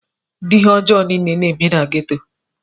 ụdị ihe ọjọọ niile na-eme na geto